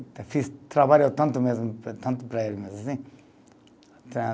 Fiz trabalhou tanto mesmo, tanto para ele mesmo, assim.